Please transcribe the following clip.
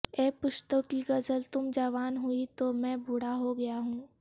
اے پشتو کی غزل تم جوان ہوئی تو میں بوڑھا ہو گیا ہوں